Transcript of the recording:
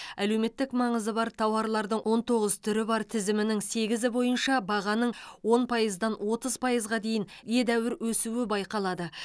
әлеуметтік маңызы бар тауарлардың он тоғыз түрі бар тізімінің сегізі бойынша бағаның он пайыздан отыз пайызға дейін едәуір өсуі байқалады